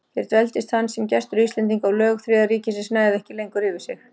Hér dveldist hann sem gestur Íslendinga, og lög Þriðja ríkisins næðu ekki lengur yfir sig.